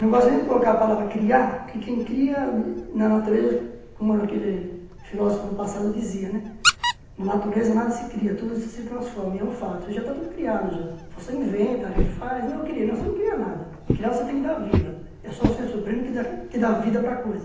Não gosto nem de colocar a palavra criar, porque quem cria na natureza, como aquele filósofo no passado dizia, né na natureza nada se cria, tudo se transforma, e é um fato, já está tudo criado, já você inventa, refaz, não, você não cria nada, criar você tem que dar vida, é só o ser supremo que dá que dá a vida para a coisa.